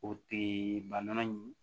O tee ba nana ye